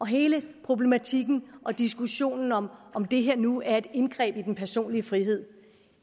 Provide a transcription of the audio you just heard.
hele problematikken og diskussionen om om det her nu er et indgreb i den personlige frihed